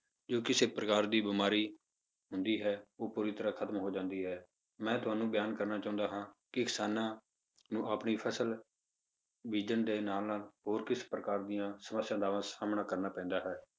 ਜੇ ਕਿਸੇ ਪ੍ਰਕਾਰ ਦੀ ਬਿਮਾਰੀ ਹੁੰਦੀ ਹੈ, ਉਹ ਪੂਰੀ ਤਰ੍ਹਾਂ ਖਤਮ ਹੋ ਜਾਂਦੀ ਹੈ, ਮੈਂ ਤੁਹਾਨੂੰ ਬਿਆਨ ਕਰਨਾ ਚਾਹੁੰਦਾ ਹਾਂ ਕਿ ਕਿਸਾਨਾਂ ਨੂੰ ਆਪਣੀ ਫਸਲ ਬੀਜਣ ਦੇ ਨਾਲ ਨਾਲ ਹੋਰ ਕਿਸੇ ਪ੍ਰਕਾਰ ਦੀਆਂ ਸਮੱਸਿਆਵਾਂ ਦਾ ਸਾਹਮਣਾ ਕਰਨਾ ਪੈਂਦਾ ਹੈ